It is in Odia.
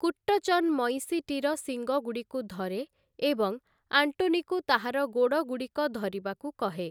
କୁଟ୍ଟଚ୍ଚନ୍ ମଇଁଷିଟିର ଶିଙ୍ଗଗୁଡ଼ିକୁ ଧରେ, ଏବଂ ଆଣ୍ଟୋନିକୁ ତାହାର ଗୋଡ଼ଗୁଡ଼ିକ ଧରିବାକୁ କହେ ।